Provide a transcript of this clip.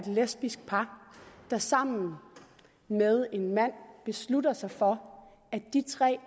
lesbisk par der sammen med en mand beslutter sig for at de tre